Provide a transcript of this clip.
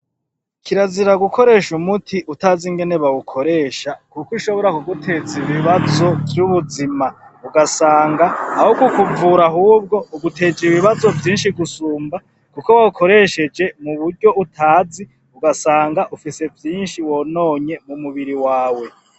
Kirazira gukoresha umuti utazi ingene bawukoresha kuko ushobora kuguteza ibibazo vy'ubuzima ugasanga aho kukuvura ahubwo uguteje ibibazo vyinshi gusumba kuko wawukoresheje muburyo utazi ugasanga ufise vyinshi wononye mu mubiri wawe